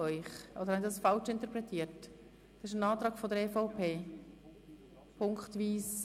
Ich gehe davon aus, dass dies ein Antrag seitens der EVP ist?